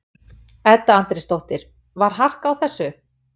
Edda Andrésdóttir: Var harkan á þessu?